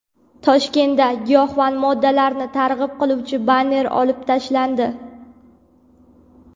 Toshkentda giyohvand moddalarni targ‘ib qiluvchi banner olib tashlandi.